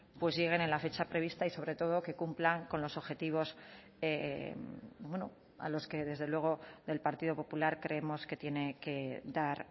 pues lleguen en la fecha prevista y sobre todo que cumplan con los objetivos a los que desde luego del partido popular creemos que tiene que dar